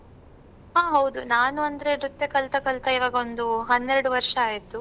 ಹಾ ಹೌದು ನಾನು ಅಂದ್ರೆ ನೃತ್ಯ ಕಲ್ತ ಕಲ್ತ ಇವಾಗ ಒಂದೂ ಹನ್ನೆರಡು ವರ್ಷ ಆಯ್ತು.